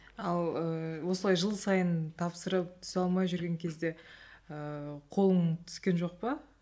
ал ыыы осылай жыл сайын тапсырып түсе алмай жүрген кезде ыыы қолың түскен жоқ па